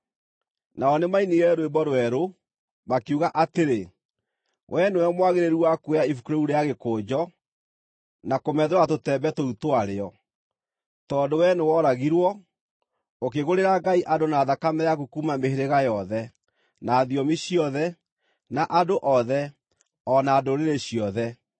Nao nĩmainire rwĩmbo rwerũ, makiuga atĩrĩ: “Wee nĩwe mwagĩrĩru wa kuoya ibuku rĩu rĩa gĩkũnjo, na kũmethũra tũtembe tũu twarĩo, tondũ wee nĩworagirwo, ũkĩgũrĩra Ngai andũ na thakame yaku kuuma mĩhĩrĩga yothe, na thiomi ciothe, na andũ othe, o na ndũrĩrĩ ciothe.